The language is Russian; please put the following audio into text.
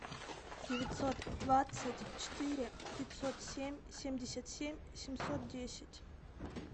девятьсот двадцать четыре пятьсот семь семьдесят семь семьсот десять